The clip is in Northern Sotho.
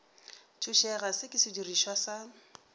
thušega se ke sedirišwa sa